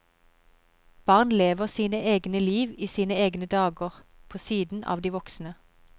Barn lever sine egne liv i sine egne dager, på siden av de voksne.